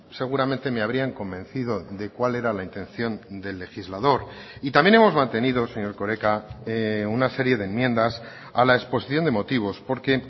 seguramente me habrían convencido de cuál era la intención del legislador y también hemos mantenido señor erkoreka una serie de enmiendas a la exposición de motivos porque